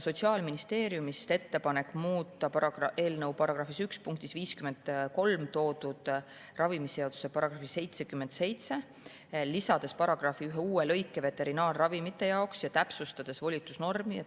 Sotsiaalministeeriumist tuli ettepanek muuta eelnõu § 1 punktis 53 toodud ravimiseaduse § 77, lisades paragrahvi ühe uue lõike veterinaarravimite jaoks ja täpsustades volitusnormi.